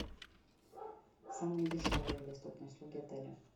самые дешевые и доступные услуги отеля